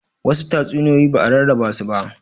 Wasu tatsuniyoyi ba'a rarraba su ba